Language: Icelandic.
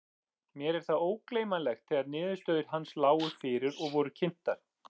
Mér er það ógleymanlegt þegar niðurstöður hans lágu fyrir og voru kynntar.